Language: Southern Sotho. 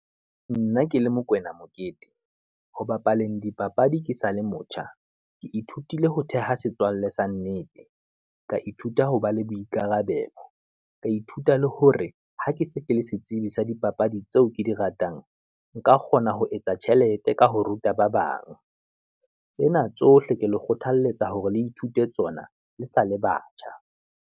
Nna ke le Mokwena Mokete, ho bapaleng dipapadi ke sa le motjha, ke ithutile ho theha setswalle sa nnete. Ka ithuta ho ba le boikarabelo, ka ithuta le hore ha ke se ke le setsebi sa dipapadi tseo ke di ratang. Nka kgona ho etsa tjhelete ka ho ruta ba bang, tsena tsohle ke le kgothaletsa hore le ithute tsona le sa le batjha.